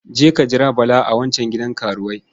Je ka jira Bala a wancan gidan karuwai.